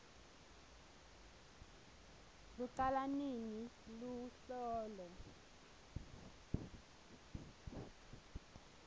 lucala nini luhlolo